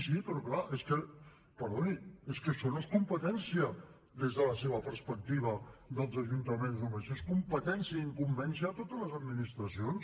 sí però clar és que perdoni això no és competència des de la seva perspectiva dels ajuntaments només és competència i incumbència de totes les administracions